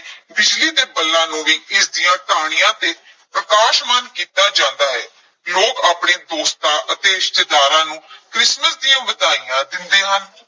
ਬਿਜਲੀ ਦੇ ਬੱਲਾਂ ਨੂੰ ਵੀ ਇਸਦੀਆਂ ਟਾਹਣੀਆਂ ਤੇ ਪ੍ਰਕਾਸ਼ਮਾਨ ਕੀਤਾ ਜਾਂਦਾ ਹੈ, ਲੋਕ ਆਪਣੇ ਦੋਸਤਾਂ ਅਤੇ ਰਿਸ਼ਤੇਦਾਰਾਂ ਨੂੰ ਕ੍ਰਿਸਮਸ ਦੀਆਂ ਵਧਾਈਆਂ ਦਿੰਦੇ ਹਨ।